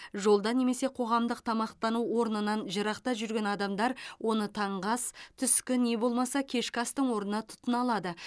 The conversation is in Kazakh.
жолда немесе қоғамдық тамақтану орнынан жырақта жүрген адамдар оны таңғы ас түскі не болмаса кешкі астың орнына тұтына алады